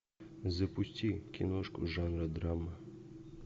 запусти киношку жанра драма